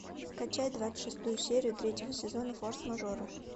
скачай двадцать шестую серию третьего сезона форс мажоры